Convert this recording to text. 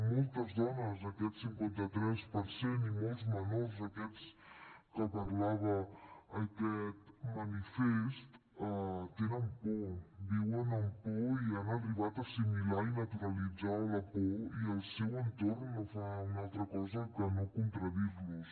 moltes dones aquest cinquanta tres per cent i molts menors aquests de què parlava aquest manifest tenen por viuen amb por i han arribat a assimilar i naturalitzar la por i el seu entorn no fa una altra cosa que no contradir los